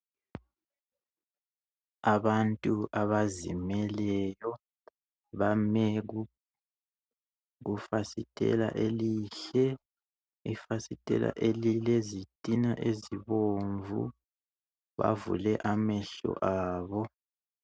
Abantu abazimeleyo bame kufasitela elihle ifasitela elilezitina ezibomvu bavule amehlo abo.